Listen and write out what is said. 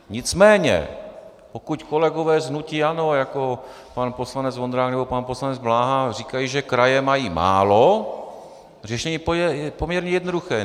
Nicméně pokud kolegové z hnutí ANO, jako pan poslanec Vondrák nebo pan poslanec Bláha, říkají, že kraje mají málo, řešení je poměrně jednoduché.